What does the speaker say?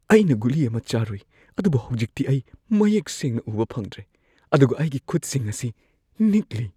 ꯑꯩꯅ ꯒꯨꯂꯤ ꯑꯃ ꯆꯥꯔꯨꯏ ꯑꯗꯨꯕꯨ ꯍꯧꯖꯤꯛꯇꯤ ꯑꯩ ꯃꯌꯦꯛ ꯁꯦꯡꯅ ꯎꯕ ꯐꯪꯗ꯭ꯔꯦ ꯑꯗꯨꯒ ꯑꯩꯒꯤ ꯈꯨꯠꯁꯤꯡ ꯑꯁꯤ ꯅꯤꯛꯂꯤ꯫